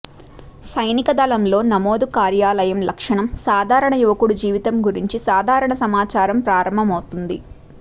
సైనిక దళంలో నమోదు కార్యాలయం లక్షణం సాధారణ యువకుడు జీవితం గురించి సాధారణ సమాచారం ప్రారంభమవుతుంది